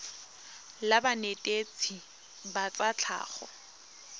la banetetshi ba tsa tlhago